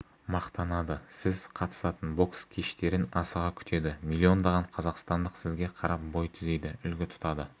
мақтанады сіз қатысатын бокс кештерін асыға күтеді миллиондаған қазақстандық сізге қарап бой түзейді үлгі тұтады